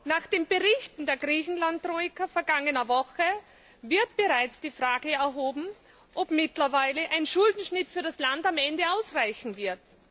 Nach den Berichten der Griechenland Troika aus der vergangenen Woche wird bereits die Frage gestellt, ob mittlerweile ein Schuldenschnitt für das Land am Ende ausreichen wird.